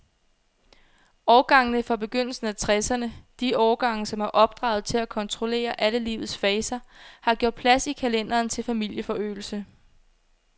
Årgangene fra begyndelsen af tresserne, de årgange, som er opdraget til at kontrollere alle livets faser, har gjort plads i kalenderen til familieforøgelse.